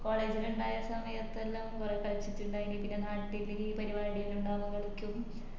college ലിൻഡായ സമയത്തെല്ലാം ഞാൻ കളിച്ചിറ്റിണ്ടായിനി പിന്ന നാട്ടില് പരിപാടിയെല്ലാം ഇണ്ടാവുമ്പോ കളിക്കും